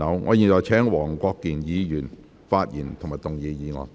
我現在請黃國健議員發言及動議議案。